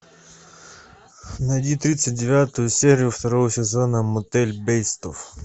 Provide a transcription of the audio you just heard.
найди тридцать девятую серию второго сезона мотель бейтсов